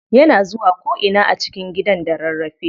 Yana zuwa ko ina a cikin gidan da rarrafe.